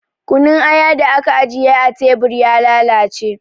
Kunun aya da aka ajiye a tebur ya lalace